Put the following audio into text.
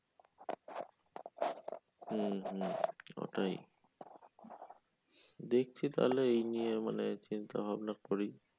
হুম হুম ওটাই। দেখছি তাইলে মানে এই নিয়ে মানে চিন্তাভাবনা করি